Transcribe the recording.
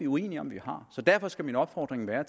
uenige om så derfor skal min opfordring være